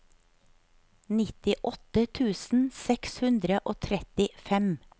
nittiåtte tusen seks hundre og trettifem